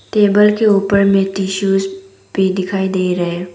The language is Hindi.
टेबल के ऊपर में टिशूज भी दिखाई दे रहे हैं।